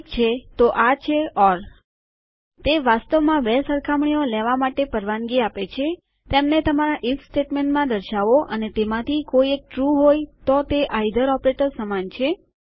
ઠીક છે તો આ છે ઓર તે વાસ્તવમાં બે સરખામણીઓ લેવા માટે પરવાનગી આપે છે તેમને તમારા ઇફ સ્ટેટમેન્ટમાં દર્શાવો અને તેમાંથી કોઈ એક ટ્રૂ હોય તો તે આઇધર ઓપરેટર સમાન છે